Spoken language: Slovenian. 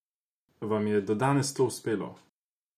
Vam je do danes to uspelo?